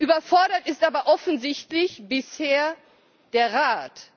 Überfordert ist aber offensichtlich bisher der Rat.